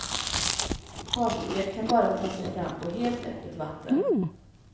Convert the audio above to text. Fartyget kan bara ta sig fram på helt öppet vatten.